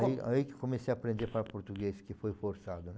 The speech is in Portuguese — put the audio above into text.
Aí aí que comecei a aprender para português, que foi forçado, né?